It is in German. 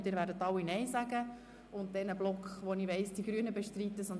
Wir führen nun einen konzentrierten Abstimmungsblock durch.